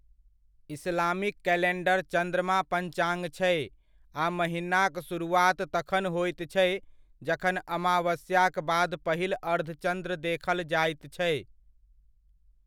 Islamic calendar चन्द्रमा पंचाङ्ग छै, आ महीनाक शुरुआत तखन होइत छै, जखन अमावस्याक बाद पहिल अर्धचन्द्र देखल जाइत छै।